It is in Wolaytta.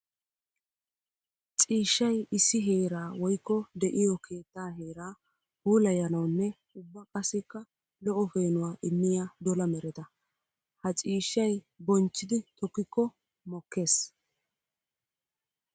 Ciishshay issi heera woykko de'iyo keetta heera puulayanawunne ubba qassikka lo'o peenuwaa immiya dola mereta. Ha ciishshay bonchchidi tokkiko mokkees.